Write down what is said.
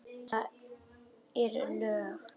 Eru lög.